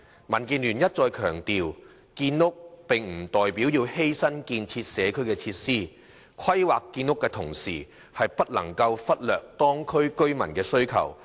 民建聯一再強調，建屋不代表要犧牲建設社區設施，規劃建屋的同時，不能忽略當區居民的需求。